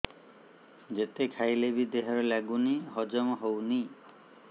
ଯେତେ ଖାଇଲେ ବି ଦେହରେ ଲାଗୁନି ହଜମ ହଉନି